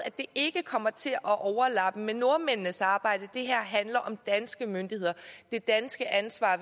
at det ikke kommer til at overlappe med nordmændenes samarbejde det her handler om danske myndigheder og det danske ansvar